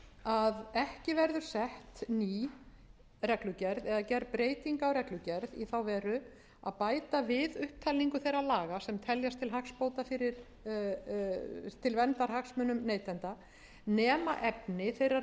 sett ný reglugerð eða gerð breyting á reglugerð í þá veru að bæta við upptalningu þeirra laga sem teljast til hagsbóta til verndar hagsmunum neytenda nema efni þeirrar